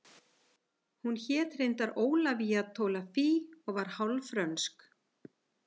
Hún hét reyndar Ólafía Tolafie og var hálf frönsk